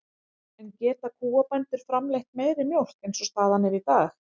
En geta kúabændur framleitt meiri mjólk eins og staðan er í dag?